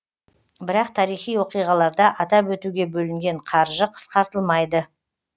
бірақ тарихи оқиғаларда атап өтуге бөлінген қаржы қысқартылмайды